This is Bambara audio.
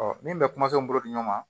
min bɛ kuma n bolo di ɲɔgɔn ma